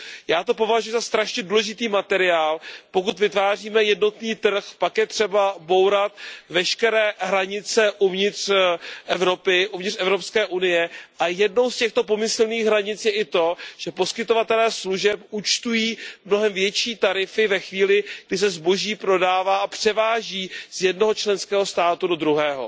Já to považuji za velmi důležitý materiál, pokud vytváříme jednotný trh, pak je třeba bourat veškeré hranice uvnitř Evropské unie a jednou z těchto pomyslných hranic je i to, že poskytovatelé služeb účtují mnohem větší tarify ve chvíli, kdy se zboží prodává a převáží z jednoho členského státu do druhého.